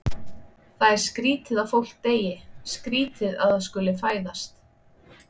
Það er skrýtið að fólk deyi, skrýtið að það skuli fæðast.